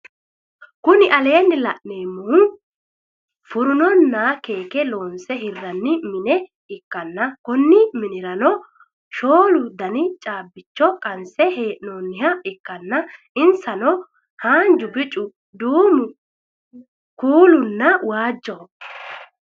Kuni laneemmohu furunonna keeke loonsse hirranni mine ikkanna Konni minnirano shoolu Dani caabbicho qansse heenooniha ikkanna insano haanjubicu duumu kuulaamunna waajjoho